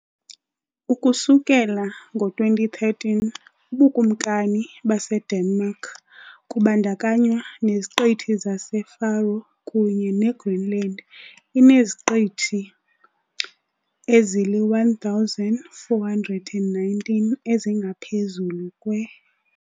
Ukusukela ngo-2013, uBukumkani baseDenmark, kubandakanywa neZiqithi zaseFaroe kunye neGreenland, ineziqithi ezili-1,419 ezingaphezulu kwe.